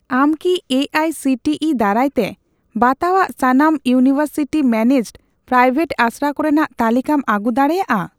ᱟᱢ ᱠᱤ A I C T E ᱫᱟᱨᱟᱭᱛᱮ ᱵᱟᱛᱟᱣᱟᱜ ᱥᱟᱱᱟᱢ ᱤᱭᱩᱱᱤᱣᱮᱨᱥᱤᱴᱤ ᱢᱮᱱᱮᱡᱰᱼᱯᱨᱟᱭᱣᱮᱴ ᱟᱥᱲᱟ ᱠᱚᱨᱮᱱᱟᱜ ᱛᱟᱞᱤᱠᱟᱢ ᱟᱹᱜᱩ ᱫᱟᱲᱮᱭᱟᱜᱼᱟ ?